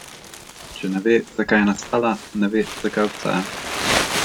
Če ne ve, zakaj je nastala, ne ve, zakaj obstaja.